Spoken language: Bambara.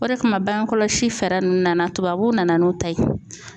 O de kama bange kɔlɔsi fɛɛrɛ ninnu nana tubabuw nana n'u ta ye.